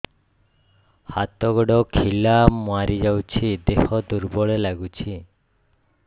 ହାତ ଗୋଡ ଖିଲା ମାରିଯାଉଛି ଦେହ ଦୁର୍ବଳ ଲାଗୁଚି